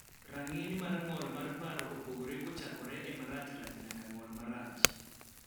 rang'iny mar ng'ol mar paro opogore kochakore e marachrach nyaka ng'ol marach